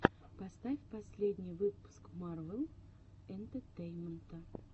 поставь последний выпуск марвел энтетейнмента